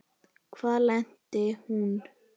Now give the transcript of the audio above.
Hvar lenti hún?